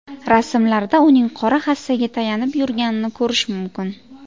Rasmlarda uning qora hassaga tayanib yurganini ko‘rish mumkin.